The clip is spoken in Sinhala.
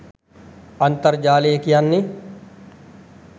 අන්තර්ජාලය කියන්නේ